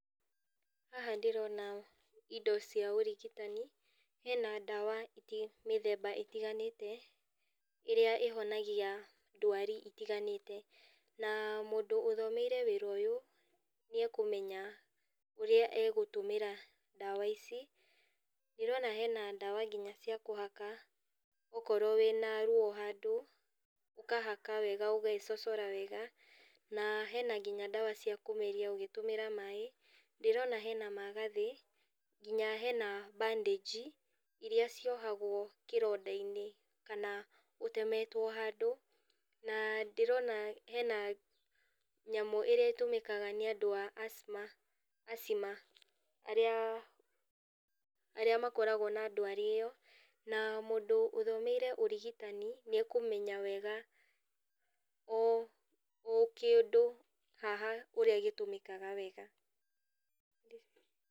Haha ndĩrona indo cia ũrigitani, hena ndawa mĩthemba ĩtiganĩte, ĩrĩa ĩhonagia ndwari itiganĩte, na mũndũ ũthomeire wĩra ũyũ, nĩakũmenya ũrĩa egũtũmĩra ndawa ici, ndĩrona hena ndawa nginya cia kũhaka, okorwo wĩna ruo handũ, ũkahaka wega ũgecocora wega, na hena nginya ndawa cia kũmeria ũgĩtũmĩra maĩ, ndĩrona hena magathĩ, nginya hena bandage iria ciohagwo kĩrondainĩ, kana ũtemetwo handũ, na ndĩrona hena nyamũ ĩrĩa ĩtũmĩkaga nĩandũ a asthma asthma arĩa makoragwo na ndwari ĩyo, na mũndũ ũthomeire ũrigitani, nĩakũmenya wega ũ okĩndũ haha, ũrĩa gĩtũmĩkaga wega.